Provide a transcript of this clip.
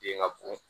Den ŋa bon